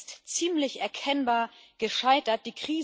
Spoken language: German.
Das ist ziemlich erkennbar gescheitert.